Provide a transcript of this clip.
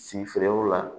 Si feerew la